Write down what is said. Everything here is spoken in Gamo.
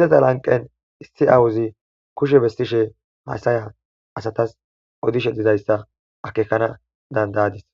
Izeta lanqen issi aawozi kushe besseshe haysa asatas odoshe dizaysa akekanas danda'adis.